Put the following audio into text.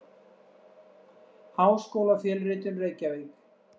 Háskólafjölritun: Reykjavík.